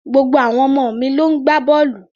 Gbogbo àwọn ọmọ mi ló ń gbá bọ́ọ̀lù